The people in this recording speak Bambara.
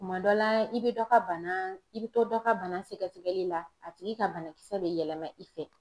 Kuma dɔ la, i bɛ dɔ ka bana; i bɛ to dɔ ka bana sɛgɛsɛgɛli la ,a tigi ka banakisɛ bɛ yɛlɛma i fɛ,.